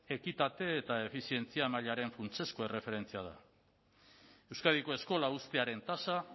ekitate eta efizientzia mailaren funtsezko erreferentzia da euskadiko eskola uztearen tasa